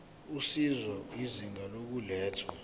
usizo izinga lokulethwa